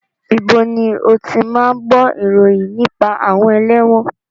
Ibo ni o ti máa ń gbó ìròyìn nípa àwọn ẹlẹ́wọ̀n?